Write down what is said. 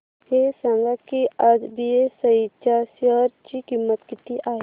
हे सांगा की आज बीएसई च्या शेअर ची किंमत किती आहे